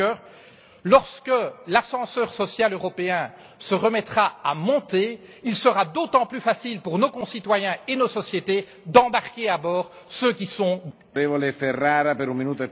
Juncker lorsque l'ascenseur social européen se remettra à monter, il sera d'autant plus facile pour nos concitoyens et nos sociétés d'embarquer à bord ceux qui sont dans le besoin.